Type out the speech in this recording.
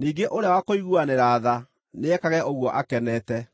ningĩ ũrĩa wa kũiguanĩra tha, nĩekage ũguo akenete.